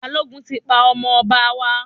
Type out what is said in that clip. Balógun tí pa ọmọ ọba wa